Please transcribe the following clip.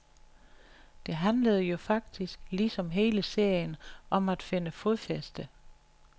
Det handlede jo faktisk, ligesom hele serien, om at finde fodfæste.